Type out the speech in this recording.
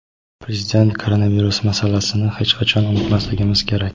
Prezident: Koronavirus masalasini hech qachon unutmasligimiz kerak.